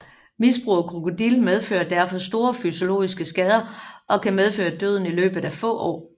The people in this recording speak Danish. Misbrug af Krokodil medfører derfor store fysiologiske skader og kan medføre døden i løbet af få år